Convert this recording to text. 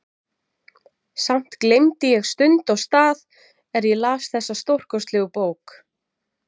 Samt gleymdi ég stund og stað er ég las þessa stórkostlegu bók.